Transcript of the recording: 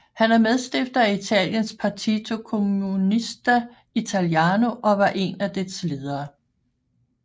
Han er medstifter af Italiens Partito Comunista Italiano og var en af dets ledere